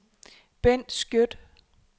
Bendt Skjødt